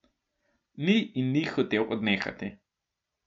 Ni in ni hotel odnehati.